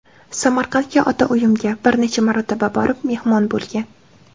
Samarqandga ota uyimga bir necha marotaba borib, mehmon bo‘lgan.